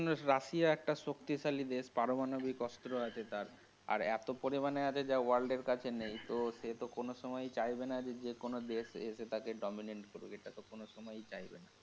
হম Russia একটা শক্তিশালী দেশ পারমাণবিক অস্ত্র আছে তার আর এতো পরিমাণে আছে যা world এর কাছে নেই তো সে তো কোনো সময়ই চাইবেনা যে কোনো দেশ এসে তাকে dominant করুক, এটা তো কোন ও সময়ই চাইবে না।